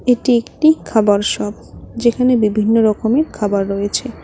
এটি একটি খাবার শপ যেখানে বিভিন্ন রকমের খাবার রয়েছে।